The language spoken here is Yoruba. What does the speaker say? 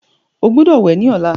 o gbódò wẹ ní ọlá.